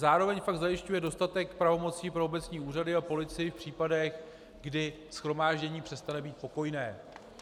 Zároveň pak zajišťuje dostatek pravomocí pro obecní úřady a policii v případech, kdy shromáždění přestane být pokojné.